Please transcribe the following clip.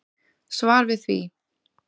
Svar við því.